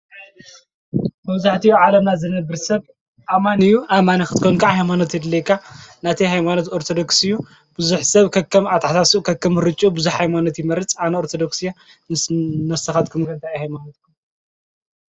መብዛሕቲኡ ኣብ ዓለምና ዝነብር ሰብ ኣማን እዩ። ኣማን ኽትኮን ከዓ ሃይማኖት የድልይካ። ናተይ ሃይማኖት ኣርተዶክስ እዩ። ብዙኅ ሰብ ከከም ኣተሓሳስብኡ ከከም ምርጮ ብዙኅ ሃይማኖት ይመርጽ። ኣነ ኦርተዶክስ እየ። ንስካትኩም ከ እንታይ እዩ ሃይማኖትኩም?